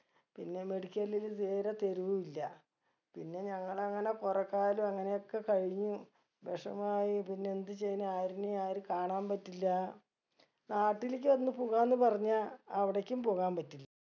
പിന്നെ medical ഇല് തീരെ തരു ഇല്ല പിന്നെ ഞങ്ങൾ അങ്ങനെ കൊറേ കാലം അങ്ങനെ ഒക്കെ കഴിഞ്ഞു വിഷമം ആയി പിന്നെ എന്ത് ചെയ്യന് ആരുനേയു ആര് കാണാൻ പറ്റില്ല നാട്ടിലേക്ക് ഒന്ന് പോകാന്ന് പറഞ്ഞാ അവിടേക്കും പോകാൻ പറ്റില്ല